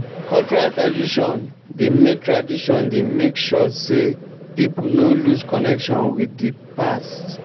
cultural tradition dey make tradition dey make sure sey pipo no lose connection with di past